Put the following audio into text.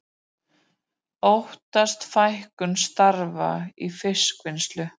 Óttast fækkun starfa í fiskvinnslu